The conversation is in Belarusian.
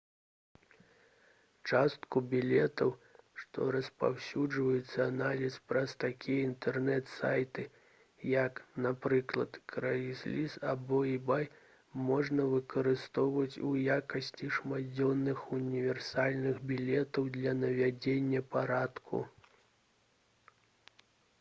частку білетаў што распаўсюджваюцца анлайн праз такія інтэрнэт-сайты як напрыклад craigslist або ebay можна выкарыстоўваць у якасці шматдзённых універсальных білетаў для наведвання парку